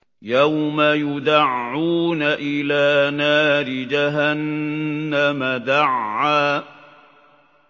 يَوْمَ يُدَعُّونَ إِلَىٰ نَارِ جَهَنَّمَ دَعًّا